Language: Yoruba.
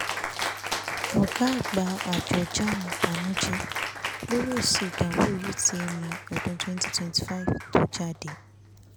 ọ̀gá àgbà àjọ jamb bànújẹ́ lórí èsì ìdánwò utme ọdún 2025 tó jáde